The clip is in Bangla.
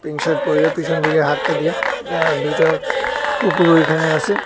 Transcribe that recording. জিন্স শার্ট পইরে পিছন দিকে হাতটা দিয়া আর দুইটা কুকুর ওইখানে আসে।